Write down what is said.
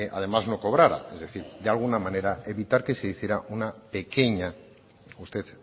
además no cobrara es decir de alguna manera evitar que se hiciera una pequeña usted